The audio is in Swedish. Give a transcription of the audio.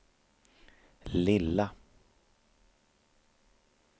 lilla